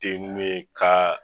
Teni me ka